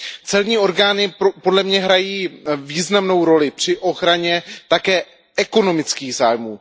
Celní orgány podle mě hrají významnou roli při ochraně také ekonomických zájmů.